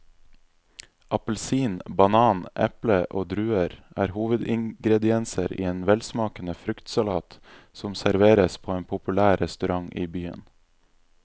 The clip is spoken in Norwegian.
Appelsin, banan, eple og druer er hovedingredienser i en velsmakende fruktsalat som serveres på en populær restaurant i byen.